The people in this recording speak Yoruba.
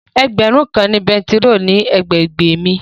Ẹgbẹ̀rún kan ni bẹntiróòlù ní àgbègbè mi.